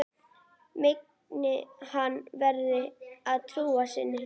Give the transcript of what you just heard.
Megi henni verða að trú sinni.